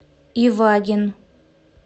ивагин